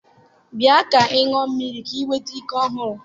Bịa ka ị ṅụọ mmiri ka wee nweta ike ọhụrụ